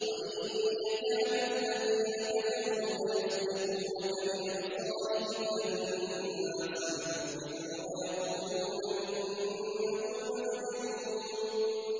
وَإِن يَكَادُ الَّذِينَ كَفَرُوا لَيُزْلِقُونَكَ بِأَبْصَارِهِمْ لَمَّا سَمِعُوا الذِّكْرَ وَيَقُولُونَ إِنَّهُ لَمَجْنُونٌ